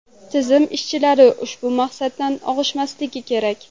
Tizim ishchilari ushbu maqsaddan og‘ishmasligi kerak.